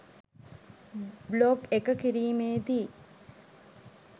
blog එක කිරීමේදී